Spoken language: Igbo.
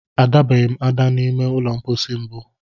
A dabeghị m ada n'ụlọ mkpọsi mbụ.